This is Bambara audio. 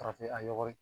Farafin a yɔgɔri